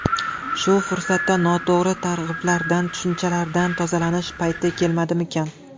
Shu fursatda noto‘g‘ri targ‘iblardan, tushunchalardan tozalanish payti kelmadimikan?